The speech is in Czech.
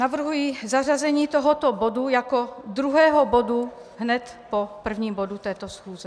Navrhuji zařazení tohoto bodu jako druhého bodu hned po prvním bodu této schůze.